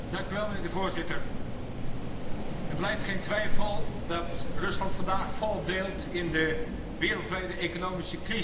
Voorzitter, het lijdt geen twijfel dat Rusland vandaag volop deelt in de wereldwijde economische crisis.